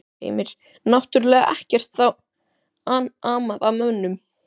Heimir: Náttúrlega ekkert þá amað að mönnum?